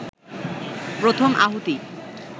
প্রথম আহুতি